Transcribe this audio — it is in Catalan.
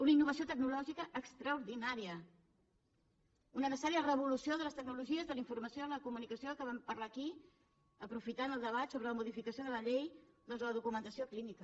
una innovació tecnològica extraordinària una necessària revolució de les tecnologies de la informació de la comunicació que vam parlar aquí aprofitant el debat sobre la modificació de la llei de la documentació clínica